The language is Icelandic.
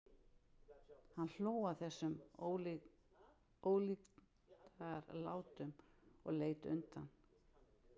Hann hló að þessum ólíkindalátum og leit undan.